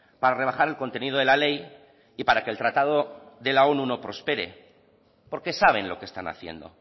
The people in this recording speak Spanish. para rebajar el contenido de la ley y para que el tratado de la onu no prospere porque saben lo que están haciendo